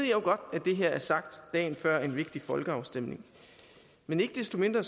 jo godt at det her er sagt dagen før en vigtig folkeafstemning men ikke desto mindre